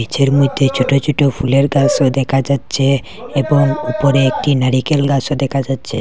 গাছের মধ্যে ছোট ছোট ফুলের গাছও দেখা যাচ্ছে এবং উপরে একটি নারিকেল গাছও দেখা যাচ্ছে।